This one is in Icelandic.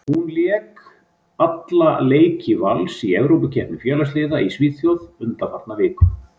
Hún lék alla leiki Vals í Evrópukeppni félagsliða í Svíþjóð undanfarna viku.